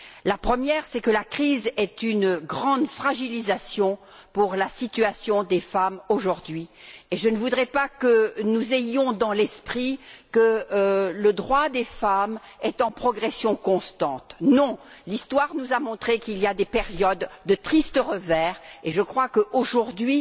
La première, c'est que la crise est un facteur de grande fragilisation pour la situation des femmes, aujourd'hui, et je ne voudrais pas que nous imaginions que le droit des femmes est en progression constante. Non, l'histoire nous a montré qu'il y avait des périodes de triste revers et je crois que, aujourd'hui,